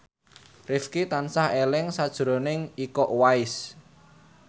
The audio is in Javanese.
Rifqi tansah eling sakjroning Iko Uwais